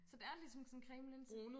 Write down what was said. Så det er ligesom sådan en cremelinse